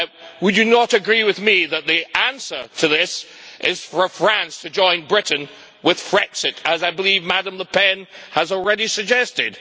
Would you not agree with me that the answer to this is for France to join Britain with Frexit, as I believe Madam Le Pen has already suggested?